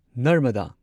ꯅꯔꯃꯗꯥ